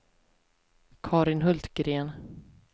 Carin Hultgren